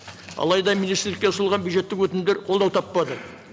алайда министрлікке ұсынылған бюджеттік өтінімдер қолдау таппады